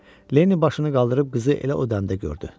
Lenni başını qaldırıb qızı elə o dəncdə gördü.